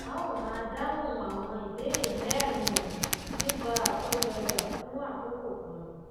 a ó máa dáhùn àwọn ìbéèrè mérin wọnyìí nípa àkójọọjà fún àkókò kan